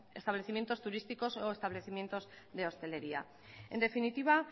establecimientos turísticos o establecimientos de hostelería en definitiva